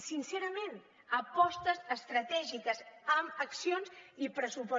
sincerament apostes estratègiques amb accions i pressupost